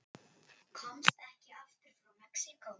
Komst ekki aftur frá Mexíkó